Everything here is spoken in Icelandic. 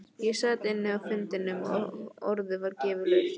Ég sat inni á fundinum og orðið var gefið laust.